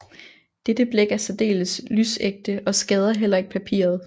Dette blæk er særdeles lysægte og skader heller ikke papiret